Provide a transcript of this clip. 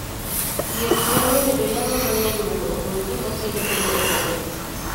Thiedh nyalo bedo yang'o mang'eny mondo ogol gima kelo tuo e bund i